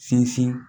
Sinsin